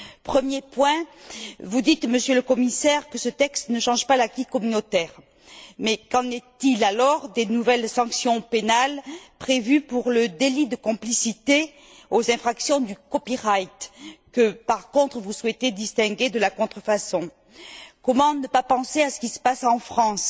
Premier point vous dites, Monsieur le Commissaire, que ce texte ne change pas l'acquis communautaire, mais qu'en est il alors des nouvelles sanctions pénales prévues pour le délit de complicité aux infractions du copyright que, par contre, vous souhaitez distinguer de la contrefaçon? Comment ne pas penser à ce qui se passe en France